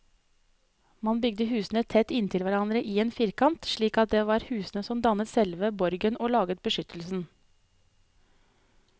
Man bygde husene tett inntil hverandre i en firkant, slik at det var husene som dannet selve borgen og laget beskyttelsen.